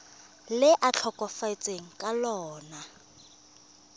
le a tlhokafetseng ka lona